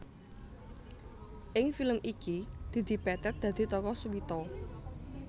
Ing film iki Didi Petet dadi tokoh Suwito